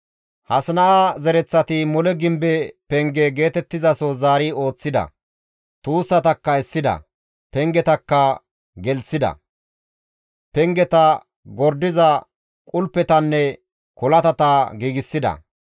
Hasina7a zereththati mole gimbe penge geetettizaso zaari ooththida; tuussatakka essida; pengetakka gelththida, pengeta gordiza qulpettanne kolatata giigsida.